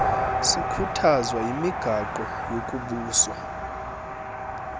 sikhuthazwa yimigaqo yokubusa